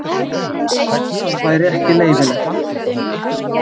Það væri ekki leyfilegt.